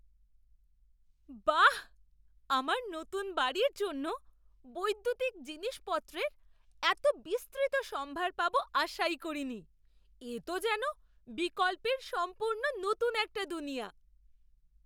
বাহ, আমার নতুন বাড়ির জন্য বৈদ্যুতিক জিনিসপত্রের এত বিস্তৃত সম্ভার পাবো আশাই করিনি, এ তো যেন বিকল্পের সম্পূর্ণ নতুন একটা দুনিয়া!